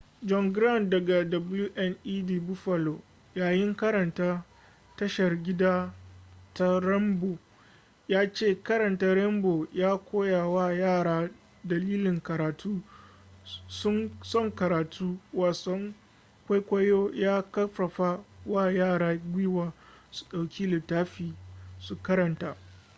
john grant daga wned buffalo yayin karanta tashar gida ta rainbow ya ce karanta rainbow ya koya wa yara dalilin karatu son karatu - [wasan kwaikwayo] ya karfafa wa yara gwiwa su dauki littafi su karanta.